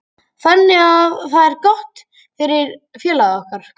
Þannig að það er gott fyrir félagið okkar.